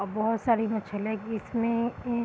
अ बहुत सारी मछलियां इसमें ए --